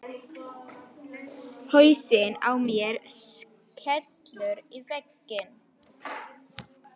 Hausinn á mér skellur í vegginn.